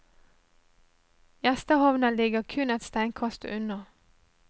Gjestehavna ligger kun et steinkast unna.